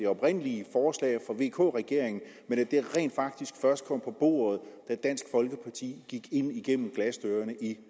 oprindelige forslag fra vk regeringen men at det rent faktisk først kom på bordet da dansk folkeparti gik ind igennem glasdørene i